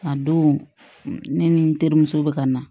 A don ne ni n terimuso bɛ ka na